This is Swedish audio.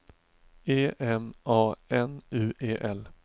E M A N U E L